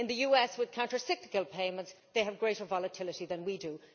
In the US, with counter cyclical payments, they have greater volatility than we do.